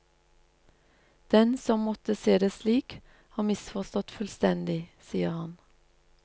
Den som måtte se det slik, har misforstått fullstendig, sier han.